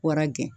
Wara gɛn